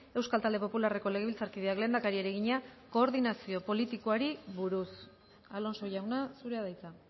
euskal talde popularreko legebiltzarkideak lehendakariari egina koordinazio politikoari buruz alonso jauna zurea da hitza